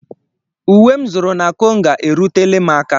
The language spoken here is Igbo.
Uwe m zụrụ na Konga erutela m aka.